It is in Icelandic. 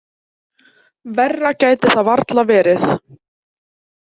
Verra gæti það varla verið.